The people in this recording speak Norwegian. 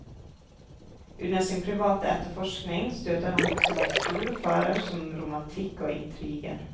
Under sin private etterforskning støter han på så vel store farer som romantikk og intriger.